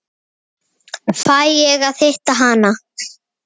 Fæ ég að hitta hana?